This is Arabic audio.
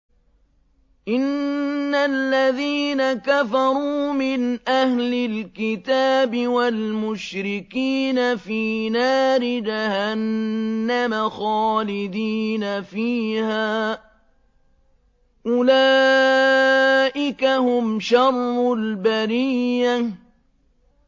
إِنَّ الَّذِينَ كَفَرُوا مِنْ أَهْلِ الْكِتَابِ وَالْمُشْرِكِينَ فِي نَارِ جَهَنَّمَ خَالِدِينَ فِيهَا ۚ أُولَٰئِكَ هُمْ شَرُّ الْبَرِيَّةِ